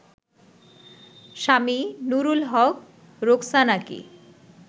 Swami Nurul Haq রোকসানাকে